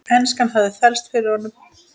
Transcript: Enskan hafði þvælst fyrir honum.